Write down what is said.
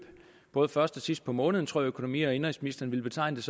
både først og sidst på måneden tror jeg økonomi og indenrigsministeren vil betegne